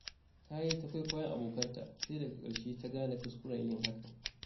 Ta yi ta kwaikwayon abokanta, sai daga ƙarshe ta gane kuskuren yin hakan.